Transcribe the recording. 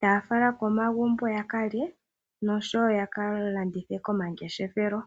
taya fala komagumbo yakalye noshowo ya ka landithe komangeshefelo.